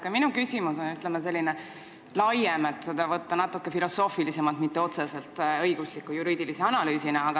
Ka minu küsimus on, ütleme, laiem, seda võib võtta natuke filosoofilisemalt, mitte otseselt õigusliku, juriidilise analüüsina.